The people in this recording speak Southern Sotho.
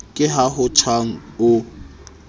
ke ha ho tjhang ho